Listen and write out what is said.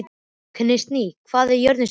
Kristný, hvað er jörðin stór?